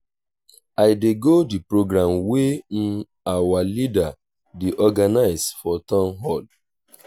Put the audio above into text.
i dey go the program wey our leader dey organize for town hall